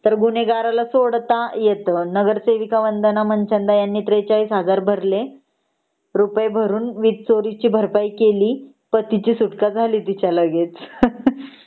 तर गुन्हेगाराला सोडता येतं नगरसेविका वंदना मनचंदा ह्यांनी ४३००० भरले रुपये भरून वीज चोरीची ची भरपाई केली पण पतीची सुटका झाली तिच्या लगेच.हा हा